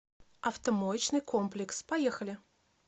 автомоечный комплекс поехали